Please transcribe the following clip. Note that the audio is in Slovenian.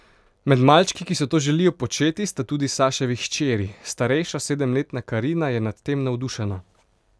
Med malčki, ki si to želijo početi, sta tudi Saševi hčeri: 'Starejša, sedemletna Karina, je nad tem navdušena.